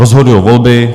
Rozhodují volby.